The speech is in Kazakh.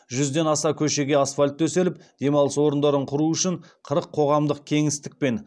жүзден аса көшеге асфальт төселіп демалыс орындарын құру үшін қырық қоғамдық кеңістік пен